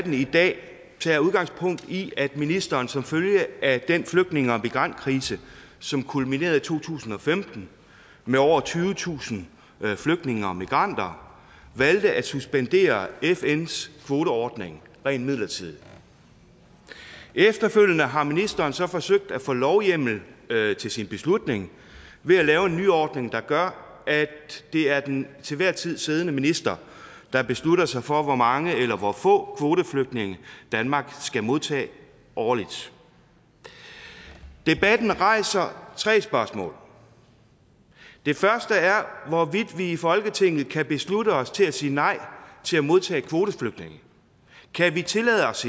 i dag tager udgangspunkt i at ministeren som følge af den flygtninge og migrantkrise som kulminerede i to tusind og femten med over tyvetusind flygtninge og migranter valgte at suspendere fns kvoteordning rent midlertidigt efterfølgende har ministeren så forsøgt at få lovhjemmel til sin beslutning ved at lave en nyordning der gør at det er den til enhver tid siddende minister der beslutter sig for hvor mange eller hvor få kvoteflygtninge danmark skal modtage årligt debatten rejser tre spørgsmål det første er hvorvidt vi i folketinget kan beslutte os til at sige nej til at modtage kvoteflygtninge kan vi tillade os